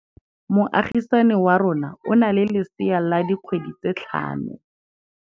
Moagisane wa rona o na le lesea la dikgwedi tse tlhano.